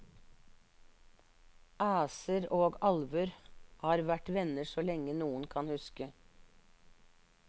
Æser og alver har vært venner så lenge noen kan huske.